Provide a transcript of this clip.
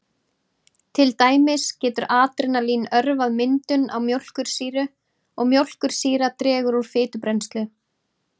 Til dæmis getur adrenalín örvað myndun á mjólkursýru og mjólkursýra dregur úr fitubrennslu.